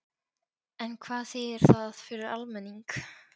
En hvað þýðir það fyrir almenning?